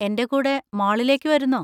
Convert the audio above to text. എൻ്റെ കൂടെ മാളിലേക്ക് വരുന്നോ?